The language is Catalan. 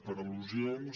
per les al·lusions